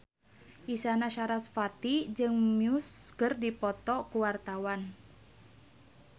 Isyana Sarasvati jeung Muse keur dipoto ku wartawan